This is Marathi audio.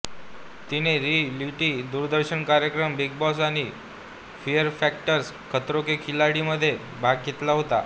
तिने रिअॅलिटी दूरदर्शन कार्यक्रम बिग बॉस आणि फियर फॅक्टर खतरों के खिलाडीमध्ये भाग घेतला होता